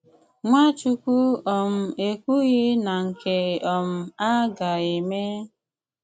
Nwàchùkwù um èkwùghì na nke um à gà-ème?